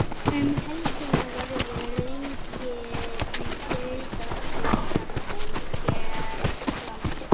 Um helgina verður leikið í Deildabikarnum hér landi.